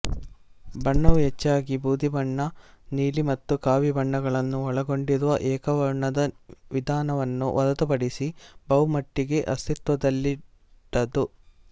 ಬಣ್ಣವು ಹೆಚ್ಚಾಗಿ ಬೂದಿಬಣ್ಣ ನೀಲಿ ಮತ್ತು ಕಾವಿಬಣ್ಣಗಳನ್ನು ಒಳಗೊಂಡಿರುವ ಏಕವರ್ಣದ ವಿಧಾನವನ್ನು ಹೊರತುಪಡಿಸಿ ಬಹುಮಟ್ಟಿಗೆ ಅಸ್ತಿತ್ವದಲ್ಲಿಲ್ಲದ್ದು